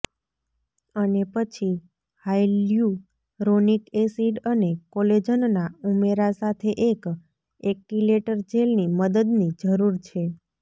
અને પછી hyaluronic acid અને કોલેજનના ઉમેરા સાથે એક એક્ટિલેટર જેલની મદદની જરૂર છે